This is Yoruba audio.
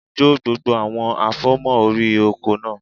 Jó gbogbo àwọn àfòmọ́ órí oko náà